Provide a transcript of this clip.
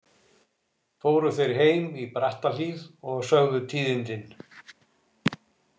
Fóru þeir heim í Brattahlíð og sögðu tíðindin.